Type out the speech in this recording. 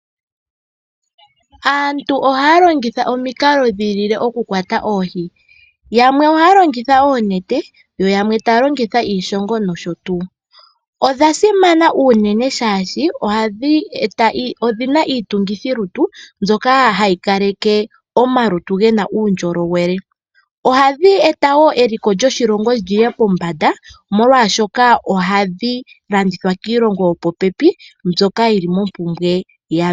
aantu ohaya longitha omikalo dhayooloka oku kwata oohi , yamwe ohaya longitha oonete yo yamwe taya longitha iishongo nosho tuu. Odha simana unene shaashi odhina iitungithi lutu mbyoka hayi kaleke omalutu gena uundjolowele , ohadhi eta wo eliko lyoshilongo lyiye pombanda omolwashoka ohadhi landithwa kiilongo yo popepi mbyoka yili mompumbwe yadho.